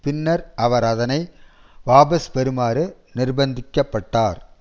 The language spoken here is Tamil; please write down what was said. பின்னர் அவர் அதனை வாபஸ் பெறுமாறு நிர்பந்திக்க பட்டார்